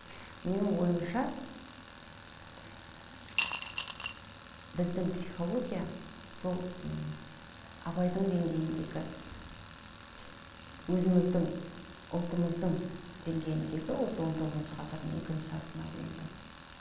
менің ойымша біздің психология сол м абайдың деңгейіндегі өзіміздің ұлтымыздың деңгейіндегі осы он тоғызыншы ғасырдың екінші жартысына дейінгі